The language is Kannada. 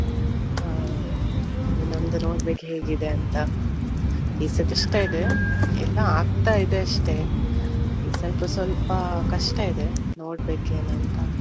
ಹಾ ನಮ್ದು ನೋಡ್ಬೇಕು ಹೇಗಿದೆ ಅಂತ. ಈ ಸರ್ತಿ ಕಷ್ಟ ಇದೆ. ಇನ್ನೂ ಆಗ್ತಾ ಇದೆ ಅಷ್ಟೇ. ಈ ಸ್ವಲ್ಪ ಸ್ವಲ್ಪ ಕಷ್ಟ ಇದೆ ನೋಡ್ಬೇಕ ಏನ್ ಅಂತ.